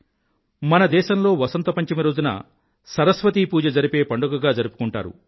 మన దేశంలో వసంత పంచమి రోజున సరస్వతీ పూజ జరిపే పండుగగా జరుపుకుంటారు